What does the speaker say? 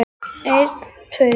En það átti víst ekki við um hana.